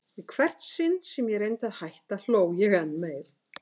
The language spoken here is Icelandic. Í hvert sinn sem ég reyndi að hætta hló ég enn meir.